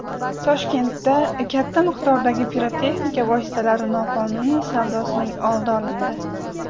Toshkentda katta miqdordagi pirotexnika vositalari noqonuniy savdosining oldi olindi.